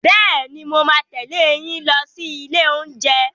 Bẹ́ẹ̀ni, mo máa tẹ̀lé yín lọ sí ilé oúnjẹ.